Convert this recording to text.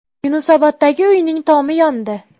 Yunusoboddagi uyning tomi yondi .